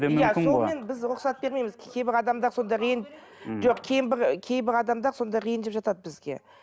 біз рұқсат бермейміз кейбір адамдар содан кейін жоқ кейбір адамдар сонда ренжіп жатады бізге